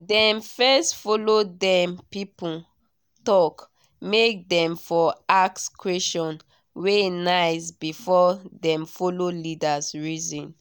dem first follow dem people talk make dem for ask questions wey nice before dem follow leaders reason